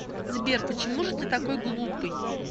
сбер почему же ты такой глупый